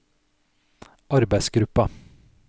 arbeidsgruppa